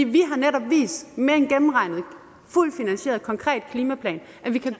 vi har netop vist med en gennemregnet fuldt finansieret konkret klimaplan at vi kan